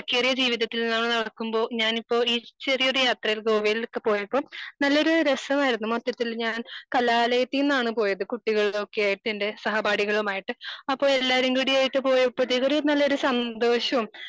തിരക്കേറിയ ജീവിതത്തിലൂടെ നടക്കുമ്പോൾ ഞാൻ ഇപ്പൊ ഈ ചെറിയൊരു യാത്രയിൽ ഗോവയിലൊക്കെ പോയപ്പോൾ നല്ലൊരു രസമായിരുന്നു മൊത്തത്തിൽ ഞാൻ കലാലയത്തിൽ നിന്നാണ് പോയത് കുട്ടികൾടൊക്കെ ആയിട്ട് എന്റെ സഹപാഠികളുമായിട്ട് അപ്പൊ എല്ലാരും കൂടി ആയിട്ട് പോയപ്പോത്തേക്കും ഒരു നല്ലൊരു സന്തോഷോം